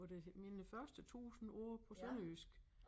Hvor det mine første 1000 ord på sønderjysk